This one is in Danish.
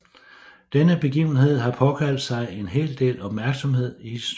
Denne begivenhed har påkaldt sig en hel del opmærksomhed i historien